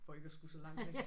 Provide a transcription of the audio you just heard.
For ikke at skulle så langt igen